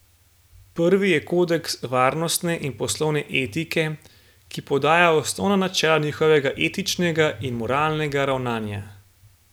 Prvi je kodeks varnostne in poslovne etike, ki podaja osnovna načela njihovega etičnega in moralnega ravnanja.